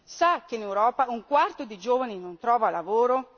Sa che in Europa un quarto dei giovani non trova lavoro?